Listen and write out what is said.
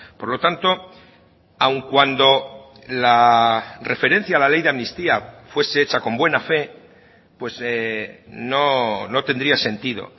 por lo tanto aun cuando la referencia a la ley de amnistía fuese hecha con buena fe pues no tendría sentido